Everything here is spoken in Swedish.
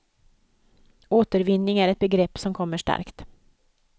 Återvinning är ett begrepp som kommer starkt.